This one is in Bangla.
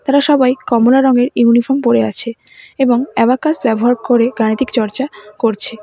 এরা সবাই কমলা রঙের ইউনিফর্ম পড়ে আছে এবং অ্যাবাকাস ব্যবহার করে গাণিতিক চর্চা করছে।